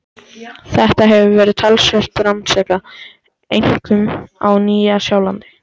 Þetta hefur verið talsvert rannsakað, einkum á Nýja-Sjálandi.